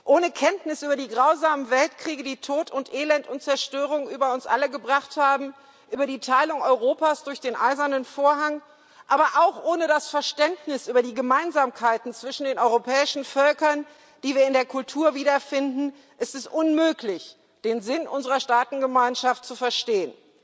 Ohne Kenntnis über die grausamen Weltkriege, die Tod, Elend und Zerstörung über uns alle gebracht haben, über die Teilung Europas durch den Eisernen Vorhang, aber auch ohne das Verständnis über die Gemeinsamkeiten zwischen den europäischen Völkern, die wir in der Kultur wiederfinden, ist es unmöglich, den Sinn unserer Staatengemeinschaft zu verstehen.